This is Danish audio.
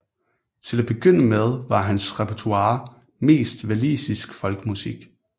Til at begynde med var hans repertoire mest walisisk folkemusik